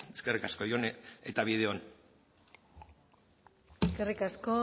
eskerrik asko jone eta bide on eskerrik asko